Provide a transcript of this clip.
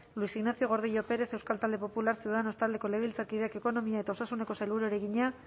luis ignacio gordillo pérez euskal talde popular ciudadanos taldeko legebiltzarkideak ekonomia eta ogasuneko sailburuari egina